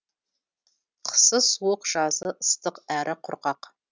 қысы суық жазы ыстық әрі құрғақ